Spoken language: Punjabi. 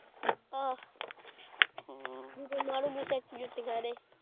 ਅਹ ਜਦੋਂ ਮਾਰੂ ਗੁੱਸੇ ਚ ਜੁੱਤੀਆਂ ਇਦੇ।